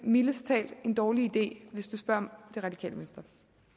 mildest talt er en dårlig idé hvis man spørger det radikale venstre